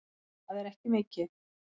Það er ekki mikið